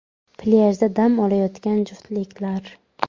Plyajda dam olayotgan juftliklar.